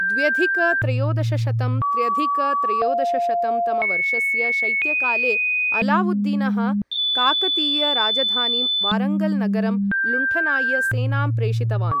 द्व्यधिक त्रयोदशशतं त्र्यधिक त्रयोदशशतं तमवर्षस्य शैत्यकाले, अलावुद्दीनः काकतीय राजधानीं वारङ्गल् नगरं लुण्ठनाय सेनाम् प्रेषितवान्।